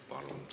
Palun!